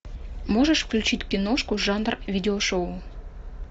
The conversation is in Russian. можешь включить киношку жанр видео шоу